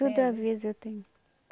Tudo aviso eu tenho.